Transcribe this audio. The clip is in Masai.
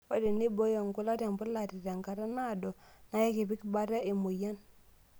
Ore teneiboo nkulak tembulate tenkata naado na ekipik bata emoyian.